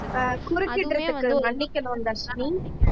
ஆஹ் குறுக்கிடறதுக்கு மன்னிக்கணும் தர்ஷினி